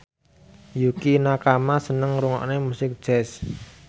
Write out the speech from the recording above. Yukie Nakama seneng ngrungokne musik jazz